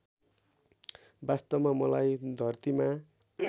वास्तवमा मलाई धरतीमा